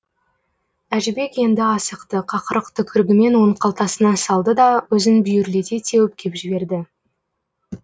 әжібек енді асықты қақырық түкірігімен оның қалтасына салды да өзін бүйірлете теуіп кеп жіберді